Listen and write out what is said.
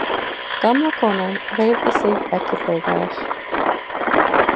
Gamla konan hreyfði sig ekki, þegar